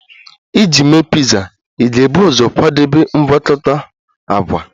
Iji mee piza, ị ga-ebu ụzọ kwadebe mgwakota agwa